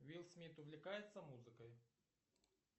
уилл смит увлекается музыкой